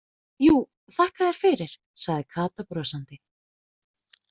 Jú, þakka þér fyrir sagði Kata brosandi.